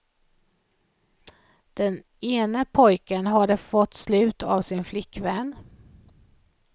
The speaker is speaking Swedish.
Den ene pojken hade fått slut av sin flickvän.